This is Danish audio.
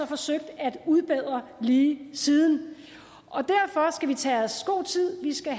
forsøgt at udbedre lige siden derfor skal vi tage os god tid vi skal